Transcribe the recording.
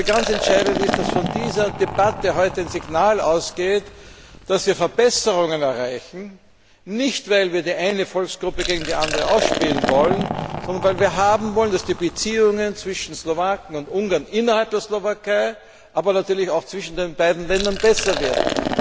Ganz entscheidend ist, dass von dieser Debatte heute ein Signal ausgeht, dass wir Verbesserungen erreichen, nicht weil wir die eine Volksgruppe gegen die andere ausspielen wollen, sondern weil wir haben wollen, dass die Beziehungen zwischen Slowaken und Ungarn innerhalb der Slowakei, aber natürlich auch zwischen den beiden Ländern, besser werden.